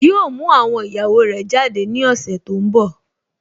Yíò mú àwọn ìyàwó rẹ̀ jáde ní ọ̀sẹ̀ tó n bọ̀